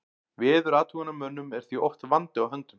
Veðurathugunarmönnum er því oft vandi á höndum.